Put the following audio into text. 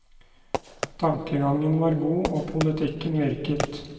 Tankegangen var god, og politikken virket.